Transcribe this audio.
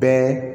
Bɛɛ